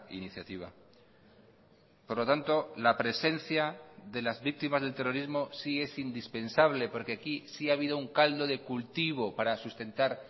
iniciativa por lo tanto la presencia de las víctimas del terrorismo sí es indispensable porque aquí sí ha habido un caldo de cultivo para sustentar